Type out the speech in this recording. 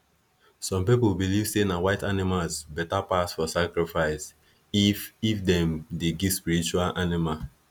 some pipo believe say na white animals beta pass for sacrifice if if them dey give spiritual animal